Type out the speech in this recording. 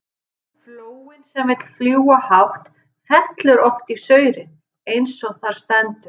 Flóin sem vill fljúga hátt, fellur oft í saurinn, eins og þar stendur.